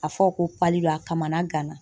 A fɔ ko pali a kamana ga na.